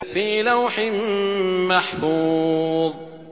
فِي لَوْحٍ مَّحْفُوظٍ